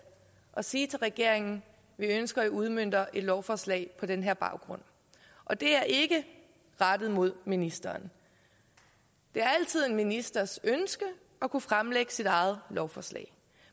at sige til regeringen vi ønsker i udmønter et lovforslag på den her baggrund og det er ikke rettet mod ministeren det er altid en ministers ønske at kunne fremsætte sit eget lovforslag